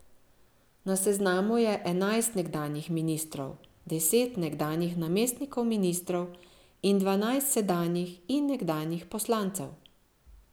Na seznamu je enajst nekdanjih ministrov, deset nekdanjih namestnikov ministrov in dvanajst sedanjih in nekdanjih poslancev.